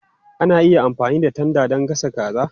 Ana iya amfani da tanda don gasa kaza.